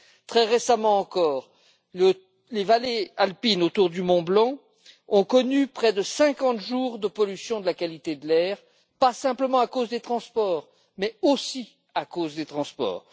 Très récemment encore, les vallées alpines autour du mont Blanc ont connu près de 50 jours de pollution de la qualité de l'air, non pas simplement à cause des transports mais aussi à cause des transports.